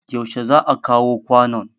yaushe za a kawo kwanon